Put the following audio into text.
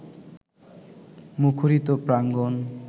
মুখরিত প্রাঙ্গণ